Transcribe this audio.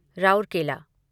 Rourkela